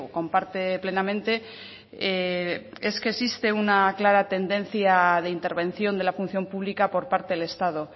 comparte plenamente es que existe una clara tendencia de intervención de la función pública por parte del estado